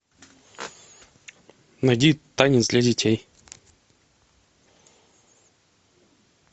найди танец для детей